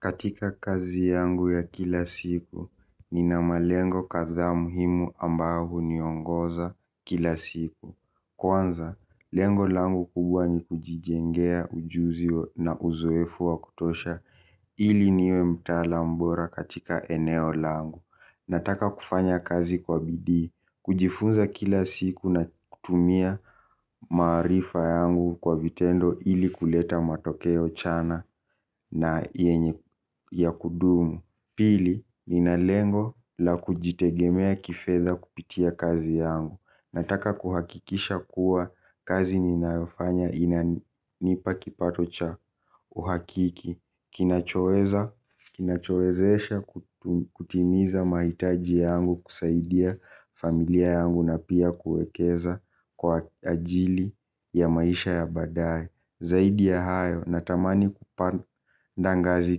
Katika kazi yangu ya kila siku, nina malengo kadha muhimu ambao huniongoza kila siku. Kwanza, lengo langu kubwa ni kujijengea ujuzi na uzoefu wa kutosha ili niwe mtaalam mbora katika eneo langu. Nataka kufanya kazi kwa bidii. Kujifunza kila siku na kutumia maarifa yangu kwa vitendo ili kuleta matokeo chana na yenye ya kudumu. Pili, ninalengo la kujitegemea kifedha kupitia kazi yangu. Nataka kuhakikisha kuwa kazi ninayofanya inanipa kipato cha uhakiki. Kinachowezesha kutimiza mahitaji yangu kusaidia familia yangu na pia kuekeza kwa ajili ya maisha ya baadaye. Zaidi ya hayo, natamani kupanda ngazi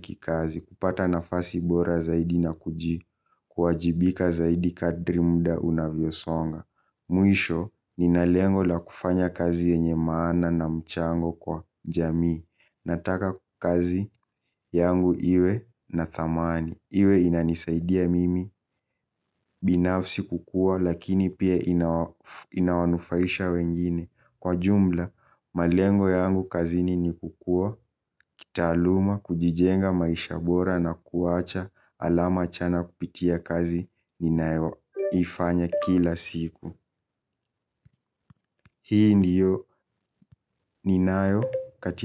kikazi, kupata nafasi bora zaidi na kuji, kuwajibika zaidi kadri muda unavyo songa. Mwisho, ninalengo la kufanya kazi yenye maana na mchango kwa jamii, nataka kazi yangu iwe na thamani. Iwe inanisaidia mimi, binafsi kukuwa, lakini pia inawanufaisha wengine. Kwa jumla, malengo yangu kazini ni kukuwa, kitaaluma, kujijenga maisha bora na kuwacha alama chana kupitia kazi ninayoifanya kila siku. Hii ndiyo ninayo katika.